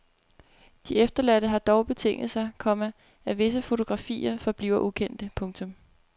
De efterladte har dog betinget sig, komma at visse fotografier forbliver ukendte. punktum